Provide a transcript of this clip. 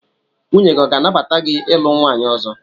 Nwunye gị ọ ga-anabata gị ilu nwaanyị ọzọ?